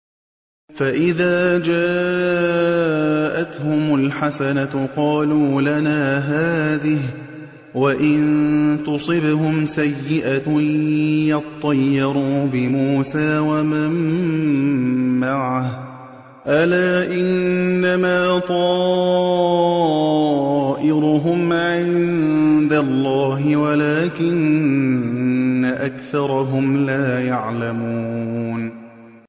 فَإِذَا جَاءَتْهُمُ الْحَسَنَةُ قَالُوا لَنَا هَٰذِهِ ۖ وَإِن تُصِبْهُمْ سَيِّئَةٌ يَطَّيَّرُوا بِمُوسَىٰ وَمَن مَّعَهُ ۗ أَلَا إِنَّمَا طَائِرُهُمْ عِندَ اللَّهِ وَلَٰكِنَّ أَكْثَرَهُمْ لَا يَعْلَمُونَ